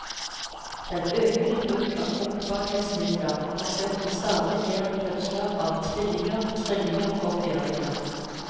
Den økende bruk av fruktbarhetsmidler har ført til stadig flere fødsler av tvillinger, trillinger og firlinger.